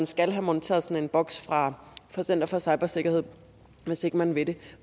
skal have monteret sådan en boks fra center for cybersikkerhed hvis ikke man vil det